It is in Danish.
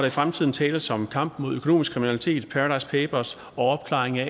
i fremtiden tales om kampen mod økonomisk kriminalitet paradise papers og opklaring af